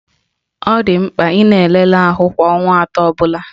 Ọ dị mkpa ị na-elele ahụ kwa ọnwa atọ ọbụla